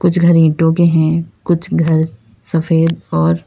कुछ घर ईटों के हैं कुछ घर सफेद और--